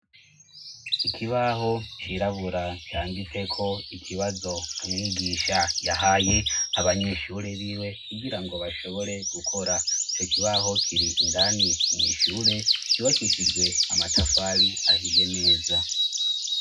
Ikibaho cirabura canditseko ikibazo umwigisha yahaye abanyeshure biwe kugira ngo bashobore gukora co kibaho kiri indani mwishure yubakishijwe amatafari ahiye neza.